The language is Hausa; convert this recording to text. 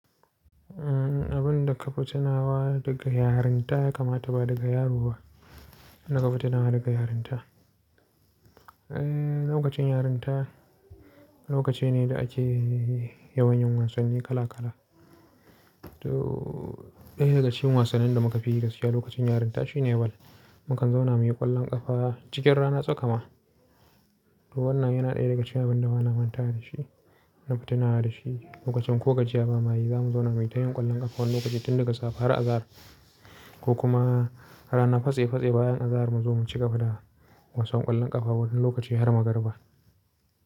Abun da kafi tinawa daga yarinta ya kamata ba daga yaroba, abun da kafi tinawa daga yarinta. Eh, lokacin yarinta lokacine da ake yawan yin wasanni kala kala. To, ɗaya daga cikin wasannin da muka fi gaskiya lokacin yarinta shine bal. Mukan zauna muyi ƙwallon ƙafa cikin rana tsaka ma. Wannan yana ɗaya daga cikin abin da bana mantawa da shi, nafi tinawa da shi lokacin ko ga jiya ba mayi zamu zauna muyi tayin ƙwallon ƙafa wani lokaci tun daga safe har azahar. Ko kuma rana fase fase bayan azahar mu zo mu ci gaba da wasan ƙwallon ƙafa wani lokaci har magarba.